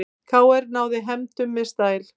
KR náði fram hefndum með stæl